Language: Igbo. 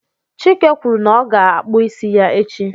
Chike kwuru na ọ ga-akpụ isi ya echi